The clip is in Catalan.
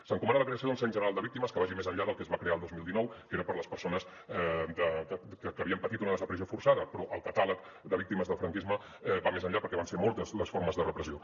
s’encomana la creació d’un cens general de víctimes que vagi més enllà del que es va crear el dos mil dinou que era per a les persones que havien patit una desaparició forçada però el catàleg de víctimes del franquisme va més enllà perquè van ser moltes les formes de repressió